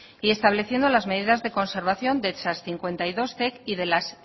y estableciendo las medidas de conservación de esas cincuenta y dos zec y de las